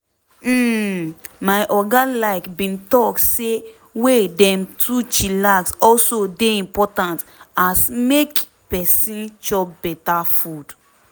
hmm my oga like bin talk say way dem to chillax also dey impotant as make peson chop beta food.